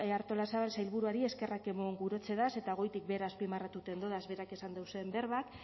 artolazabal sailburuari eskerrak emon gurotzedaz eta goitik behera azpimarratuten dodaz berak esan dauzen berbak